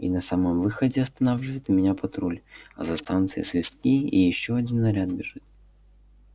и на самом выходе останавливает меня патруль а со станции свистки и ещё один наряд бежит